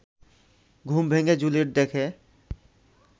ঘুম ভেঙে জুলিয়েট দেখে